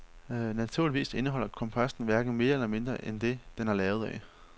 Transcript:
Naturligvis indeholder komposten hverken mere eller mindre end det, den er lavet af.